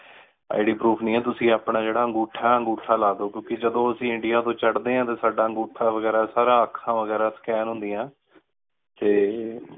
IDProof ਨੀ ਹੈ ਤੁਸੀਂ ਆਪਣਾ ਅੰਗੂਠਾ ਲਾ ਦੋ ਕ੍ਯੋਉਣ ਕ ਜਦੋਂ ਅੱਸੀ ਇੰਡੀਆ ਤੋ ਚਾਰ੍ਹ੍ਡੀ ਆਂ ਟੀ ਸਦਾ ਅਨ੍ਗੋਥਾ ਵਗੇਰਾ ਸਾਰਾ ਆਖਾਂ ਵਗੇਰਾ Scan ਹੁੰਦਿਯਾ ਟੀ